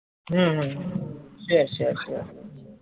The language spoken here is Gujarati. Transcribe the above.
છે છે છે